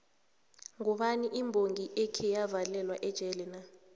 mgubani imbongi ekheyavalelwa ejele na